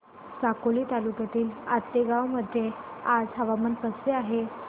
साकोली तालुक्यातील आतेगाव मध्ये आज हवामान कसे आहे